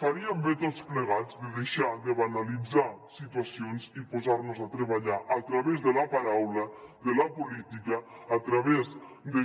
faríem bé tots plegats de deixar de banalitzar situacions i posar nos a treballar a través de la paraula de la política a través